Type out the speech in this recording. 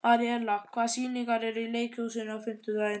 Aríella, hvaða sýningar eru í leikhúsinu á fimmtudaginn?